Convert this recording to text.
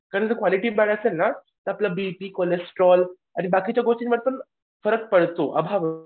परंतु क्वालिटी बरी असेल न तर आपला बीपी कोलेस्ट्रॉल आणि बाकीच्या गोष्टींवर पण फरक पडतो